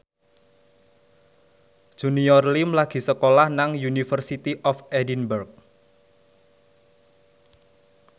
Junior Liem lagi sekolah nang University of Edinburgh